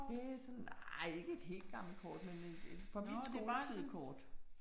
Det sådan nej ikke et helt gammelt kort men et fra min skoletid kort